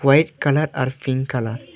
White colour আর pink colour.